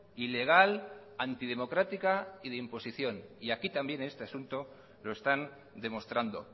ilegal antidemocrática y de imposición y aquí también en este asunto lo están demostrando